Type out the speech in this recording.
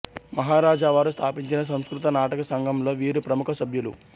మహారాజావారు స్థాపించిన సంస్కృత నాటక సంఘంలో వీరు ప్రముఖ సభ్యులు